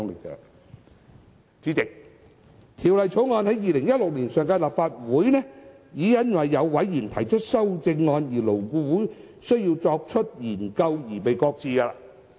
《2016年條例草案》在上屆立法會已因為有委員提出修正案，以致勞顧會需要進一步研究而被擱置。